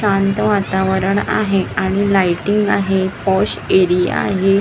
शांत वातावरण आहे आणि लाईटींग आहे पॉश एरिया आहे .